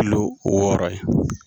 Lo wɔɔrɔ ye.